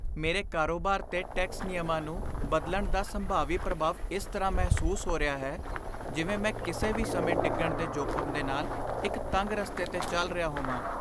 ਮੇਰੇ ਕਾਰੋਬਾਰ 'ਤੇ ਟੈਕਸ ਨਿਯਮਾਂ ਨੂੰ ਬਦਲਣ ਦਾ ਸੰਭਾਵੀ ਪ੍ਰਭਾਵ ਇਸ ਤਰ੍ਹਾਂ ਮਹਿਸੂਸ ਹੋ ਰਿਹਾ ਹੈ ਜਿਵੇਂ ਮੈਂ ਕਿਸੇ ਵੀ ਸਮੇਂ ਡਿੱਗਣ ਦੇ ਜੋਖਮ ਦੇ ਨਾਲ ਇੱਕ ਤੰਗ ਰਸਤੇ 'ਤੇ ਚੱਲ ਰਿਹਾ ਹੋਵਾਂ।